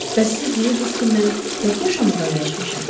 Bəs siz deyirdiniz ki, mən tək yaşamağa öyrəşmişəm.